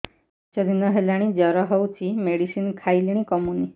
ପାଞ୍ଚ ଦିନ ହେଲାଣି ଜର ହଉଚି ମେଡିସିନ ଖାଇଲିଣି କମୁନି